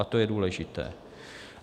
A to je důležité.